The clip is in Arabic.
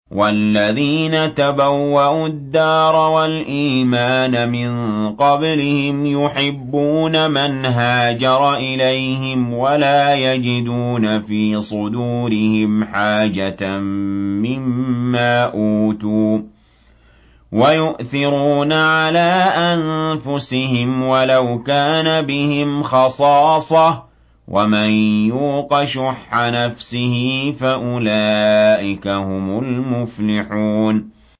وَالَّذِينَ تَبَوَّءُوا الدَّارَ وَالْإِيمَانَ مِن قَبْلِهِمْ يُحِبُّونَ مَنْ هَاجَرَ إِلَيْهِمْ وَلَا يَجِدُونَ فِي صُدُورِهِمْ حَاجَةً مِّمَّا أُوتُوا وَيُؤْثِرُونَ عَلَىٰ أَنفُسِهِمْ وَلَوْ كَانَ بِهِمْ خَصَاصَةٌ ۚ وَمَن يُوقَ شُحَّ نَفْسِهِ فَأُولَٰئِكَ هُمُ الْمُفْلِحُونَ